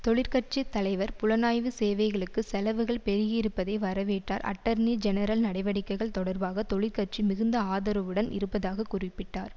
தொழிற்கட்சி தலைவர் புலனாய்வு சேவைகளுக்கு செலவுகள் பெருகியிருப்பதை வரவேற்றார் அட்டர்னி ஜெனரல் நடவடிக்கைகள் தொடர்பாக தொழிற்கட்சி மிகுந்த ஆதரவுடன் இருப்பதாக குறிப்பிட்டார்